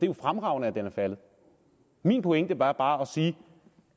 jo fremragende at den er faldet min pointe var bare at sige